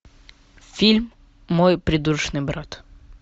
фильм мой придурочный брат